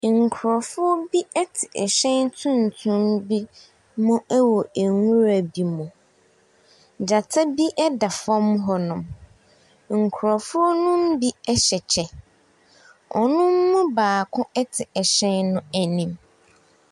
Nkrɔfo bi ɛte ɛhyɛn tuntum bi mu ɛwɔ nwura bi mu. Gyata bi ɛda fɔm hɔnom. Nkrɔfo no binom ɛhyɛ kyɛ. Wɔn mu baako ɛte ahyɛn no anim.